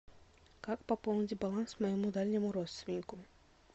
как пополнить баланс моему дальнему родственнику